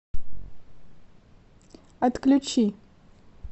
отключи